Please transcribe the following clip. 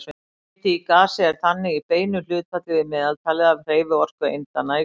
Hiti í gasi er þannig í beinu hlutfalli við meðaltalið af hreyfiorku eindanna í gasinu.